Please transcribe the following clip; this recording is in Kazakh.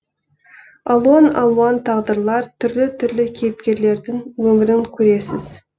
алуан алуан тағдырлар түрлі түрлі кейіпкерлердің өмірін көресіз